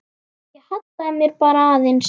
Ég hallaði mér bara aðeins.